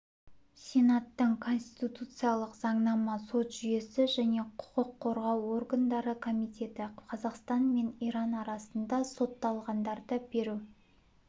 сенаттың конституциялық заңнама сот жүйесі және құқық қорғау органдары комитеті қазақстан мен иран арасында сотталғандарды беру